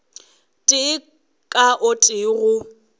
tee ka o tee go